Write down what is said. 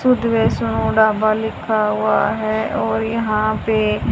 शुद्ध वेज ढाबा लिखा हुआ है और यहां पे--